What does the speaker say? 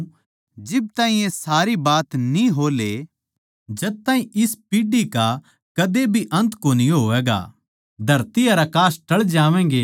मै थमनै साच्ची कहूँ सूं के जिब ताहीं ये सारी बात न्ही हो ले जद तक इस पीढ़ी का कद्दे भी अन्त कोनी होवैगा